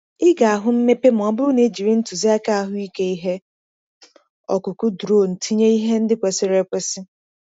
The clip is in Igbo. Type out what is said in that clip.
Ị ga-ahụ mmepe ma ọ bụrụ na i jiri ntụziaka ahụike ihe ọkụkụ drone tinye ihe ndị kwesịrị ekwesị.